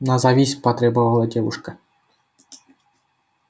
назовись потребовала девушка